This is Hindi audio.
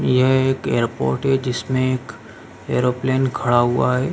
यह एक एयरपोर्ट है जिसमे एक ऐरोप्लेने खड़ा हुआ है।